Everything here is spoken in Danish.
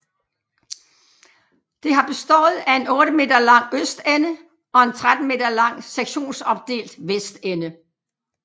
Det har bestået af en 8 m lang østende og en 13 m lang sektionsopdelt vestende